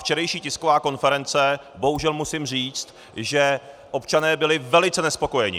Včerejší tisková konference - bohužel musím říci, že občané byli velice nespokojeni.